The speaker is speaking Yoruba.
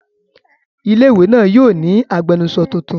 Ilé-ìwé náà yóò ní agbẹnusọ tuntun.